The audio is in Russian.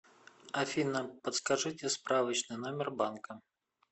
афина подскажите справочный номер банка